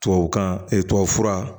Tubabukan tubabufura